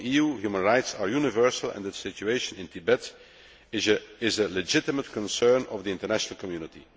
For the EU, human rights are universal, and the situation in Tibet is a legitimate concern of the international community.